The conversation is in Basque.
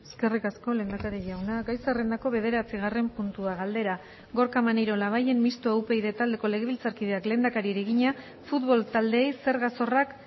eskerrik asko lehendakari jauna gai zerrendako bederatzigarren puntua galdera gorka maneiro labayen mistoa upyd taldeko legebiltzarkideak lehendakariari egina futbol taldeei zerga zorrak